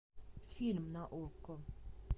фильм на окко